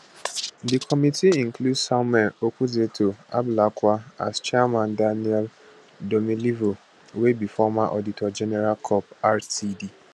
di committee include samuel okudzeto ablakwa as chairman daniel domelevo wey be former auditor general cop rtd